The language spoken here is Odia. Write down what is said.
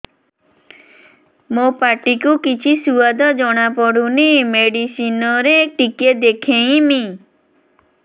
ମୋ ପାଟି କୁ କିଛି ସୁଆଦ ଜଣାପଡ଼ୁନି ମେଡିସିନ ରେ ଟିକେ ଦେଖେଇମି